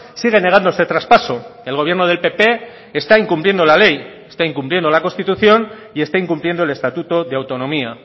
sigue negándose traspaso el gobierno del pp está incumpliendo la ley está incumpliendo la constitución y está incumpliendo el estatuto de autonomía